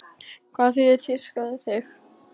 Hvað þýðir tíska fyrir þig?